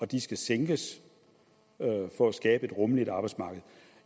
de skal sænkes for at skabe et rummeligt arbejdsmarked